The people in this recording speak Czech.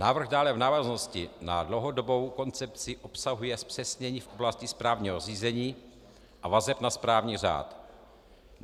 Návrh dále v návaznosti na dlouhodobou koncepci obsahuje zpřesnění v oblasti správního řízení a vazeb na správní řád.